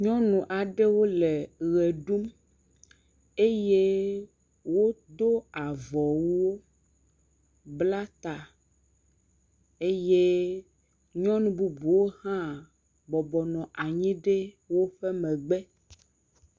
Nyɔnu aɖewo le ʋe ɖum, eye wodo avɔwuwo bla ta, eyenyɔnu bubuwo hã bɔbɔ nɔ anhyi ɖe woƒe megbe.